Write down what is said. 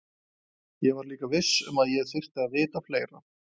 Ég var líka viss um að ég þyrfti að vita fleira.